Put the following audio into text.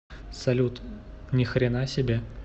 салют ни хрена себе